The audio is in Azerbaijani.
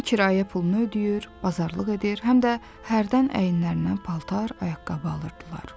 Həm kirayə pulunu ödəyir, bazarlıq edir, həm də hərdən əyinlərinə paltar, ayaqqabı alırdılar.